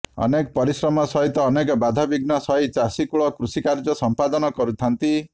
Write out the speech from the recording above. ଅନେକ ପରିଶ୍ରମ ସହିତ ଅନେକ ବାଧାବିଘ୍ନ ସହି ଚାଷୀ କୁଳ କୃଷିକାର୍ଯ୍ୟ ସମ୍ପାଦନ କରିଥାନ୍ତି